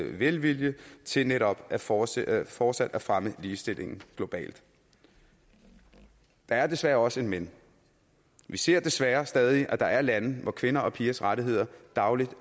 velvilje til netop fortsat fortsat at fremme ligestillingen globalt der er desværre også et men vi ser desværre stadig at der er lande hvor kvinders og pigers rettigheder dagligt